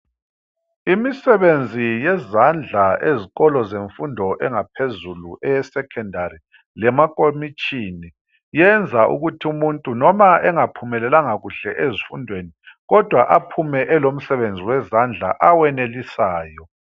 Imisebenzi yezandla ezikolo zemfundo engaphezulu eye"Secondary"lemakomitshini yenza ukuthi umuntu noma engaphumelelanga kuhle ezifundweni kodwa aphume elomsebenzi wezandla awenelisayo.